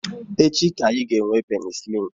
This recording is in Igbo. Echi ka anyị ga-ga-enwe penisilin